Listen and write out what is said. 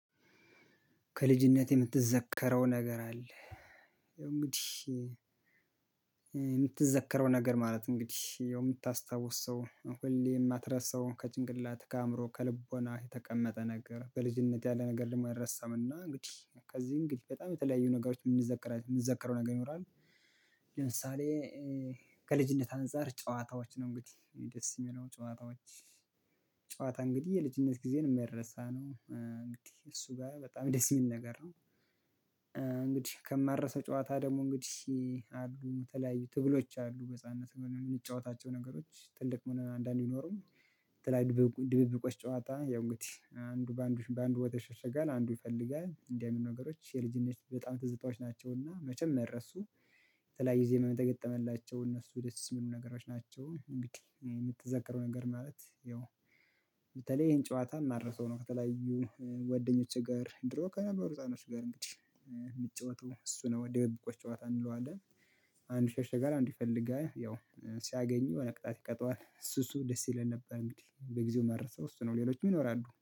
ከልጅነቴ የምትዘከረው ነገር አለ። ያው እንግዲህ የምትዘከረው ነገር ማለት እንግዲህ የምታስታውስ ሰው ሁሌ የማትረሳው ከጭንቅላት ከአእምሮ ከልቦና የተቀመጠ ነገር በልጅነት ያለ ነገር ደግሞ አይረሳምና። እንግዲህ ከዚህ እንግዲህ በጣም የተለያዩ ነገሮች የምንዘከረው ነገር ይኖራል። ለምሳሌ ከልጅነት አንፃር ጨዋታዎች ነው እንግዲህ ደስ የሚለው ጨዋታዎች። ጨዋታ እንግዲህ የልጅነት ጊዜን የማይሳ ነው እንግዲህ እሱ ጋር በጣም ደስ የሚል ነገር ነው። እንግዲህ ከማረሰው ጨዋታ ደግሞ እንግዲህ አሉ የተለያዩ ትግሎች አሉ በህፃንነት የምንጫወታቸው ነገሮች ትልቅ ሆነን አንዳንዴ አይኖሩም። የተለያዩ ድብብቆች ጨዋታ ያው እንግዲህ አንዱ በአንዱ በአንዱ ቦታ ይሸሸጋል አንዱ ይፈልጋል እንደው የምን ነገሮች የልጅነት በጣም ትዝታዎች ናቸው። እና መቸም የማይረሱ በተለያዩ ጊዜ መ የላቸውም። እነሱ የደስ የሚሉ ነገሮች ናቸው። እንግዲህ የምትዘክረው ነገር ማለት ይኸው። በተለይ ይሄን ጨዋታ ማረሰው ነው። ከተለያዩ ወደኞች ጋር ድሮ ከነበሩ ህፃኖች ጋር እንግዲህ የሚጫወተው እሱ ነው ወዲያው የብቁዎች ጨዋታ እንለዋለን። አንድ ሸሸ ጋር አንድ ይፈልጋል ያው ሲያገኙ ነቅጣት ይቀጣዋል ሱሱ ደስ ይለን ነበር። እንግዲህ በጊዜው መረሰው እሱ ነው ሌሎችም ይኖራሉ